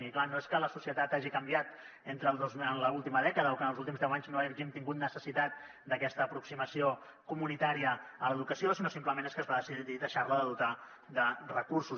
i clar no és que la societat hagi canviat en l’última dècada o que en els últims deu anys no hàgim tingut necessitat d’aquesta aproximació comunitària a l’educació sinó simplement és que es va decidir deixar la de dotar de recursos